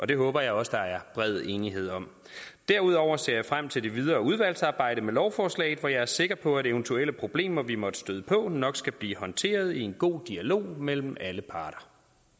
det håber jeg også der er bred enighed om derudover ser jeg frem til det videre udvalgsarbejde med lovforslaget for jeg er sikker på at eventuelle problemer vi måtte støde på nok skal blive håndteret i en god dialog mellem alle parter